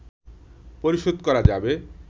পরিশোধ করা যাবে